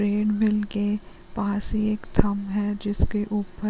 treadmill के पास एक थम है जिसके ऊपर --